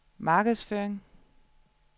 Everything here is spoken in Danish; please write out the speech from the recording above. markedsføring